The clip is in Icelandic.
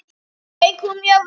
Söng hún mjög vel.